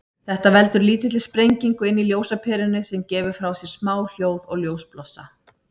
Þetta veldur lítilli sprengingu inni í ljósaperunni, sem gefur frá sér smá hljóð og ljósblossa.